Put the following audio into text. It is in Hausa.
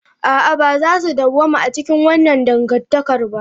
A'a, ba za su dawwama a cikin wannan dangantakar ba.